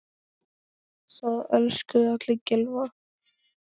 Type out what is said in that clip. Það elskuðu allir Gylfa.